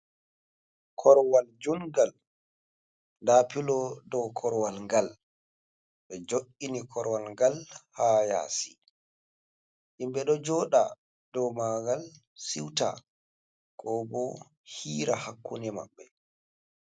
Korwal jungal nda pilo dow korwal ngal ɓe jo’ini korwal ngal ha yasi himɓe ɗo joɗa dow mangal siuta ko bo hiira hakkune maɓɓe.